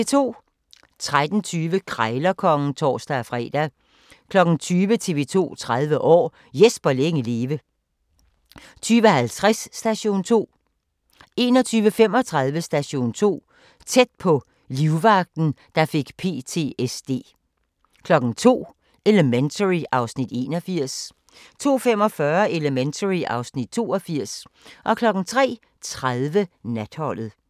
13:20: Krejlerkongen (tor-fre) 20:00: TV 2 30 år: Jesper længe leve 20:50: Station 2 21:35: Station 2: Tæt på - livvagten, der fik PTSD 02:00: Elementary (Afs. 81) 02:45: Elementary (Afs. 82) 03:30: Natholdet